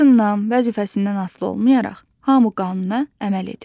Yaşından, vəzifəsindən asılı olmayaraq, hamı qanuna əməl edir.